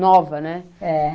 nova, né? é.